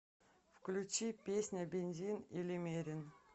включи песня бензин или мерин